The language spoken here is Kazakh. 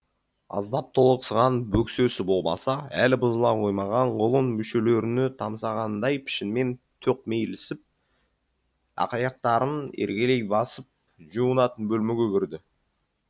аздап толықсыған бөксесі болмаса әлі бұзыла қоймаған құлын мүшелеріне тамсағандай пішінмен тоқмейілсіп ақаяқтарын еркелей басып жуынатын бөлмеге кірді